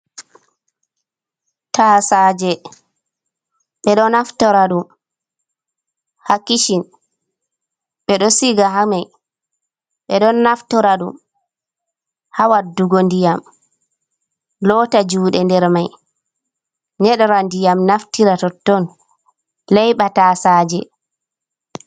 Tasaje ɓeɗo naftora ɗum ha kishin, ɓe ɗo siga hamai ɓe ɗon naftora ɗum ha waddugo ndiyam lotta juɗe nder mai, nyeɗora ndiyam naftira to tton leyɓa tasaje.